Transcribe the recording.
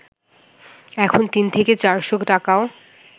এখন তিন থেকে চারশ’ টাকাও